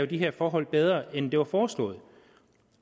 de her forhold bedre end det var foreslået